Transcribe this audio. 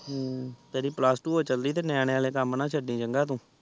ਹਮ ਤੇਰੀ plus two ਹੋ ਚਲੀ ਤੇ ਨਿਆਣਿਆਂ ਵਾਲੇ ਕਾਮ ਨਾ ਛਡਿ ਚੰਗਾ ਤੂੰ